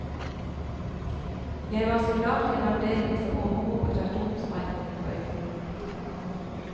Jeg var soldat i en avdeling som overvåket atomsprengningene på øygruppen.